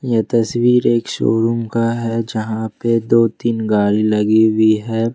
यह तस्वीर एक शोरूम का है जहां पे दो तीन गाड़ी लगी हुई है।